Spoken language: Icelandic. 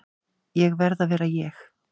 Ég verð að vera ég.